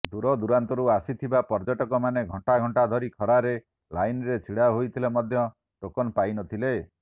ଦୂରଦୂରାନ୍ତରୁ ଆସିଥିବା ପର୍ଯ୍ୟଟକମାନେ ଘଣ୍ଟା ଘଣ୍ଟା ଧରି ଖରାରେ ଲାଇନ୍ରେ ଛିଡ଼ା ହୋଇଥିଲେ ମଧ୍ୟ ଟୋକନ୍ ପାଇ ନଥିଲେ